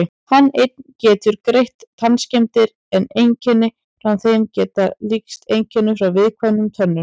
Hann einn getur greint tannskemmdir en einkenni frá þeim geta líkst einkennum frá viðkvæmum tönnum.